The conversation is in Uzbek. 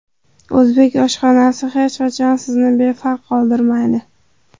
O‘zbek oshxonasi hech qachon sizni befarq qoldirmaydi!